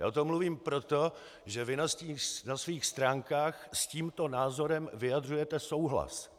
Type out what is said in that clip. Já o tom mluvím proto, že vy na svých stránkách s tímto názorem vyjadřujete souhlas.